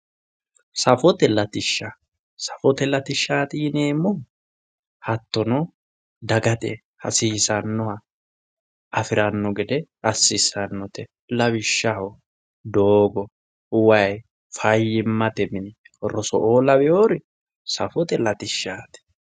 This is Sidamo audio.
Safote latishsha, safote latishshati yineemmohu hattonno dagate hasiisanoha afirano gede assisanote lawishshaho doogo, waayi, fayyimate mini ,roso'o lawinnori safote latishshati.